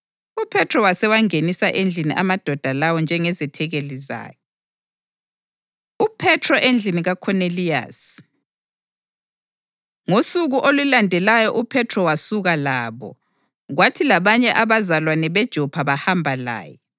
UPhethro wasewangenisa endlini amadoda lawo njengezethekeli zakhe. UPhethro Endlini KaKhoneliyasi Ngosuku olulandelayo uPhethro wasuka labo, kwathi labanye abazalwane beJopha bahamba laye.